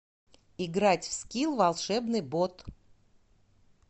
играть в скил волшебный бот